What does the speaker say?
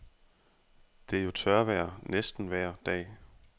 Det er jo tørvejr næsten vejr dag.